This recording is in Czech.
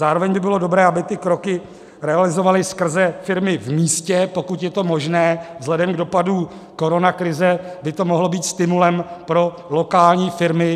Zároveň by bylo dobré, aby ty kroky realizovali skrze firmy v místě, pokud je to možné, vzhledem k dopadu koronakrize by to mohlo být stimulem pro lokální firmy.